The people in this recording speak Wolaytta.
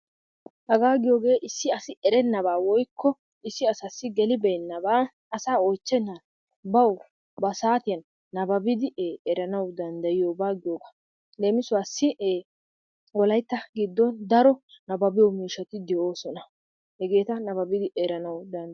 Hegaa giyoogee issi asi erenabaa woykko he asassi gelibeenabaa asaa oychchennam bawu ba saatiyan nababidi eranawu danddayiyoba giyoogaa. Leemissuwassi Wolaytta giddon daro nababbiyo miishshati de'oosona. Hegeeta nababbidi eranawu dandayetees.